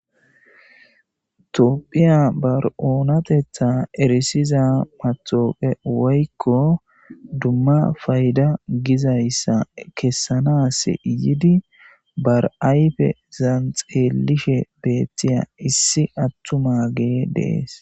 toopphiya bar7oonatetha erisiza matooqe woykko dumma fayda gizayssa kessanas yidi bar7ayfe zan xeelishe beettiya issi attuma gee dees